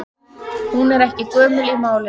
Hún er ekki gömul í málinu.